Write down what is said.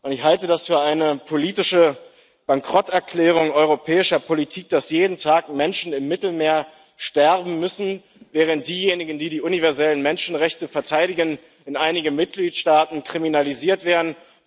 Ich halte es für eine politische Bankrotterklärung europäischer Politik, dass jeden Tag Menschen im Mittelmeer sterben müssen, während diejenigen, die die universellen Menschenrechte verteidigen, in einigen Mitgliedstaaten kriminalisiert werden.